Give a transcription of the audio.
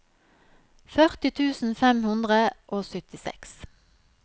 førti tusen fem hundre og syttiseks